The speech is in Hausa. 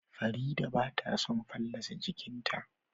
Fareedah bata son fallasa jiƙinta